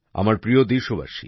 আমার প্রিয় দেশবাসী